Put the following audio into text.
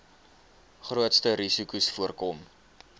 grootste risikos voorkom